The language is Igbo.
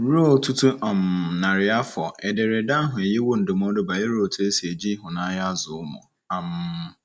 Ruo ọtụtụ um narị afọ, Ederede ahụ enyewo ndụmọdụ banyere otú e si eji ịhụnanya azụ ụmụ. um